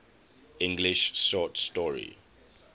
english short story